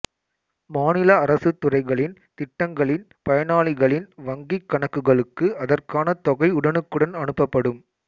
மாநில அரசுத் துறைகளின் திட்டங்களின் பயனாளிகளின் வங்கிக் கணக்குகளுக்கு அதற்கான தொகை உடனுக்குடன் அனுப்பப்படும்